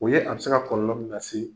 O ye a be se ka kɔlɔlɔ min na se